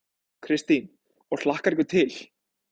Kristín: Og hlakkar ykkur til?